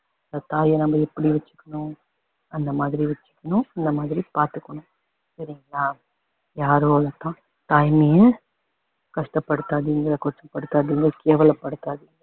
இப்போ தாய வந்து எப்படி வச்சுக்கணும் அந்த மாதிரி வச்சுக்கணும் அந்த மாதிரி பாத்துக்கணும் சரிங்களா யார் ஒருத்தரும் தாய்மைய கஷ்டப்படுத்தாதீங்க கொச்சப்படுத்தாதீங்க கேவலப்படுத்தாதீங்க